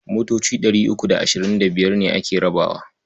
Motoci ɗari uku da ashirin da biyar ne ake rabawa.